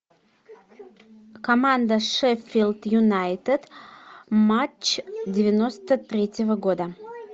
команда шеффилд юнайтед матч девяносто третьего года